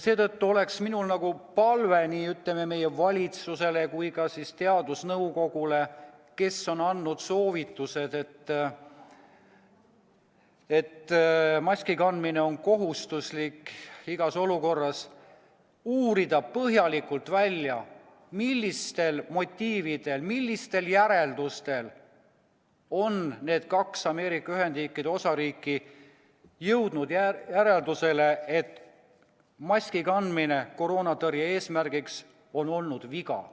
Seetõttu on mul palve nii meie valitsusele kui ka teadusnõukojale, kes on andnud soovituse, et maski kandmine on kohustuslik igas olukorras: uurida põhjalikult välja, millistel motiividel, millistel alustel on need kaks Ameerika Ühendriikide osariiki jõudnud järeldusele, et maski kandmine koroona tõrje eesmärgil on olnud viga.